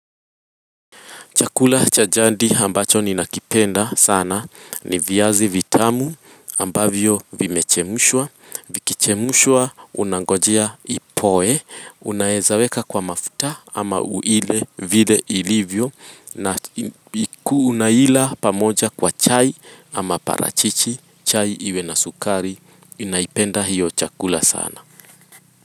Chakula cha jadi ambacho ninakipenda sana ni viazi vitamu ambavyo vimechemshwa. Vikichemshwa unangojea ipoe, unaweza weka kwa mafuta ama uile vile ilivyo na unaila pamoja kwa chai ama parachichi, chai iwe na sukari, ninaipenda hiyo chakula sana.